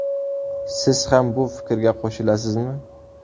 Siz ham bu fikrga qo‘shilasizmi?